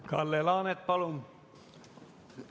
Kalle Laanet, palun!